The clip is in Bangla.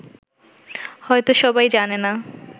হয়ত সবাই জানে না